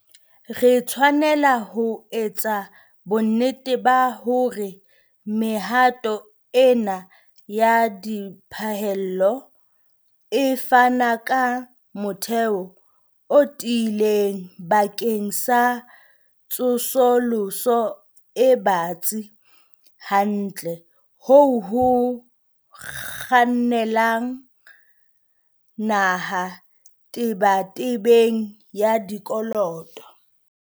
Re tshwanela ho etsa bonnete ba hore mehato ena ya diphallelo e fana ka motheo o tiileng bakeng sa tsosoloso e batsi kantle ho ho kgannela naha tebetebeng ya dikoloto.